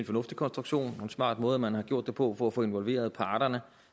fornuftig konstruktion og en smart måde man har gjort det på for at få involveret parterne